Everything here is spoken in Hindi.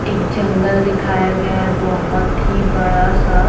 एक जंगल दिखाया गया है बहुत ही बड़ा सा--